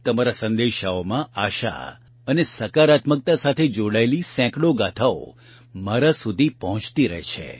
તમારા સંદેશાઓમાં આશા અને સકારાત્મકતા સાથે જોડાયેલી સેંકડો ગાથાઓ મારા સુધી પહોંચતી રહે છે